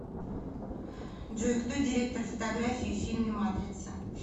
джой кто директор фотографии в фильме матрица